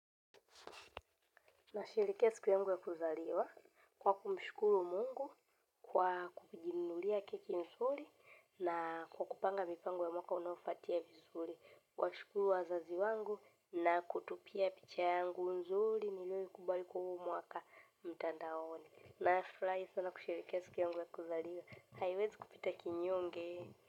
Nasherehekea siku yangu ya kuzaliwa kwa kumshukuru Mungu kwa kujinunulia keki nzuri na kwa kupanga mipango ya mwaka unaofuatia vizuri. Kuwashukuru wazazi wangu na kutupia picha yangu nzuri niliyoikubali kwa huo mwaka mtandaoni. Nafurahi sana kusherehekea siku yangu ya kuzaliwa. Haiwezi kupita kinyonge.